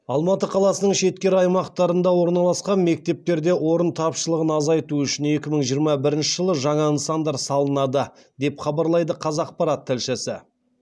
алматы қаласының шеткері аймақтарында орналасқан мектептерде орын тапшылығын азайту үшін екі мың жиырма бірінші жылы жаңа нысандар салынады деп хабарлайды қазақпарат тілшісі